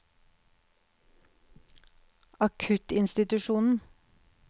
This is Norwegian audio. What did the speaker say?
akuttinstitusjonen